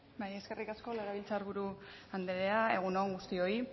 bai eskerrik asko legebiltzar buru anderea egun on guztioi